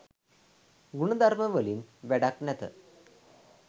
ගුණ ධර්ම වලින් වැඩක් නැත.